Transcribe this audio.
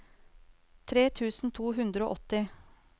tre tusen to hundre og åtti